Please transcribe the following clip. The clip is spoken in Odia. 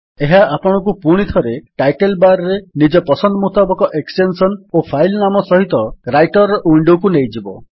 ଏହା ଆପଣଙ୍କୁ ପୁଣିଥରେ ଟାଇଟଲ୍ ବାର୍ ରେ ନିଜ ପସନ୍ଦ ମୁତାବକ ଏକ୍ସଟେନ୍ସନ୍ ଓ ଫାଇଲ୍ ନାମ ସହିତ ରାଇଟର୍ ୱିଣ୍ଡୋକୁ ନେଇଯିବ